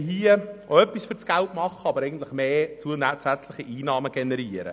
Ich möchte an dieser Stelle auch etwas für das Geld tun, nämlich zusätzliche Einnahmen generieren.